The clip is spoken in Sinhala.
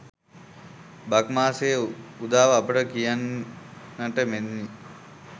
බක් මාසයේ උදාව අපට කියන්නට මෙනි.